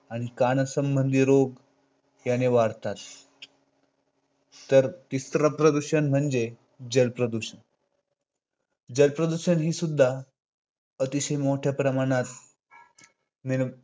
आणि कानासंबंधी रोग याने वाढतात. तर इतर प्रदूषण म्हणजे जल प्रदूषण. जल प्रदूषण ही सुद्धा अतिशय मोठ्या प्रमाणात निर्माण